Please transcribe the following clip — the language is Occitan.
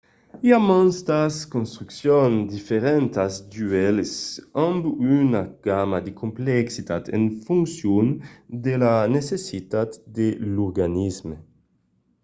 i a mantas construccions diferentas d'uèlhs amb una gamma de complexitat en foncion de las necessitats de l'organisme